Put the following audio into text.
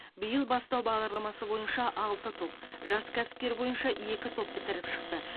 биыл бастау бағдарламасы бойынша алты топ жас кәсіпкер бойынша екі топ бітіріп шықты